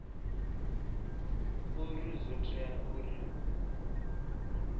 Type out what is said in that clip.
uri zwo tea uri hu